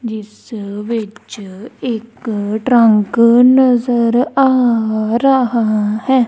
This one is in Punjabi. ਜਿਸ ਵਿੱਚ ਇਕ ਟਰੰਕ ਨਜ਼ਰ ਆ ਰਹਾ ਹੈ।